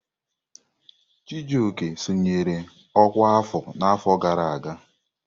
Chijioke sonyere ọkwá afọ n'afọ gara aga.